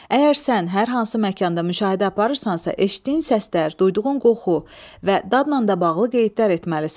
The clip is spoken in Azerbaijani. Əgər sən hər hansı məkanda müşahidə aparırsansa, eşitdiyin səslər, duyduğun qoxu və dadla da bağlı qeydlər etməlisən.